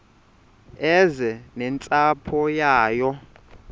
eze nentsapho yayo